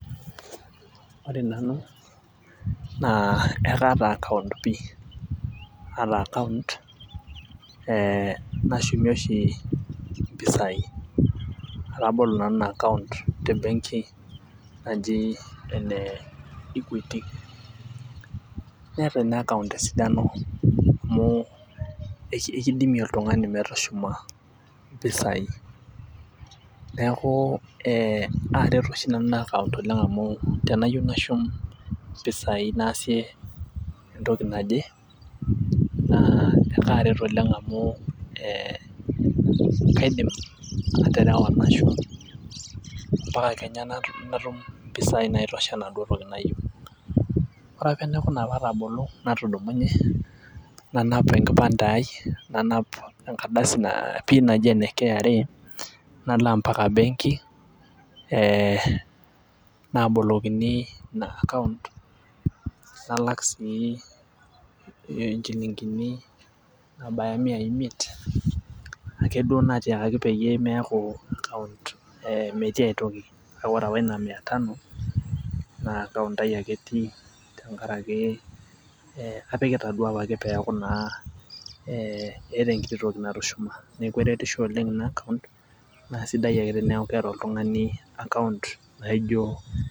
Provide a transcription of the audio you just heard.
Naa ekaata account pii ee nashumie oshi mpisai. atabolo nanu Ina account te benki naji ene equity. neeta Ina account esidano. amu kidimie oltungani metushuma mpisai neeku ee aaret oshi nanu Ina account oleng amu teniyieu nashum mpisai naasie. entoki naje naa ekaaret oleng amu Ed kaidim aterewa nashum. mpaka Kenya natum mpisai naitosha enaduoo toki nayieu. ore apa enaikuna pee atabolo natudumunye nanap enkipande ai nanap enkardasi pin naji ene KRA .nalo mpaka benki ee naabolokini Ina account nalak sii inchilinkini naabaya imiai imiet akeduo naatiakaki pee meeku account ee metii aitoki. kake ore apa Ina mia tano naa account ai ake etii. tenkaraki apikita duo apake peeku naa ee eeta enkiti toki natushuma. Neeku eretisho oleng Ina account naa sidai ake teneeku keeta oltungani account naijo.